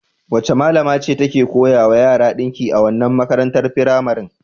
Wace malama ce take koya wa yara ɗinki a wannan makarantar firamaren?